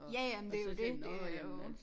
Ja ja men det jo dét det jo